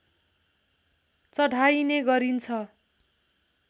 चढाइने गरिन्छ